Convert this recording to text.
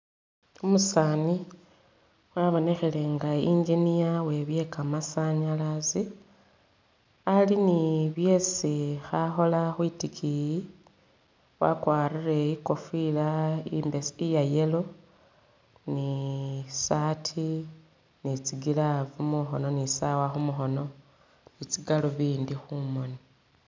Umusaani wabonekhele nga engineer we'byekamasanyalazi ali ni byesi khakhola khwitikiyi, wakwarile i'kofila i'mbes... iya yellow ni saati ni tsigloove mukhono ni sawa khumukhono ni tsigaluvindi khumoni